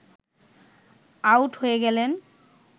out হয়ে গেলেন